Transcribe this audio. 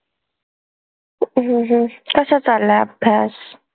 हम्म हम्म कसा चाललाय अभ्यास?